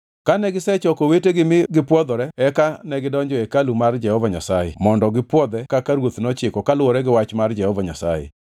Kane gisechoko owetegi mi gipwodhore eka negidonjo e hekalu mar Jehova Nyasaye mondo gipwodhe kaka ruoth nochiko kaluwore gi wach mar Jehova Nyasaye.